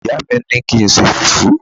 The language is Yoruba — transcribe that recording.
ìyá mi ni ki nṣe fufu